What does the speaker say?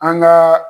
An gaa